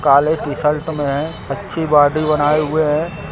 काले टीशर्ट में अच्छी बॉडी बनाए हुए हैं।